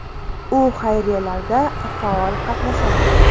U xayriyalarda faol qatnashadi.